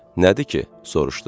Nədir ki, soruşdu.